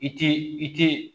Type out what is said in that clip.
I tɛ i tɛ